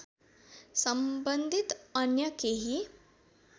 सम्बन्धित अन्य केही